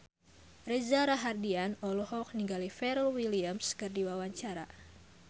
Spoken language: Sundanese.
Reza Rahardian olohok ningali Pharrell Williams keur diwawancara